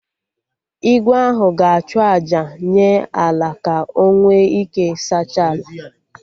Igwe ahụ ga-achụ àjà nye Ala ka o nwe ike saachaa ala